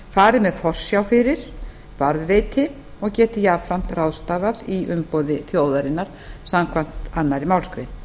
fari með forsjá fyrir varðveiti og geti jafnframt ráðstafað í umboði þjóðarinnar samkvæmt annarri málsgrein